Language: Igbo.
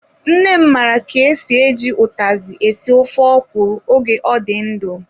Nne m mara ka-esi, eji utazi esi ofe ọkwụrụ oge ọ dị ndụ.